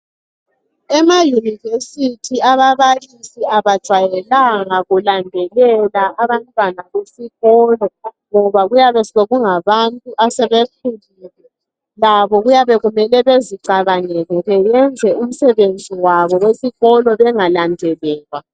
Emayunevesithi ababalisi abajayelanga kulandelela abantwana besikolo ngoba kuyabe sekungabantu asebekhulile labo kuyabe kumele bezicabangele beyenze umsebenzi wabo wesikolo bengalandelelwa.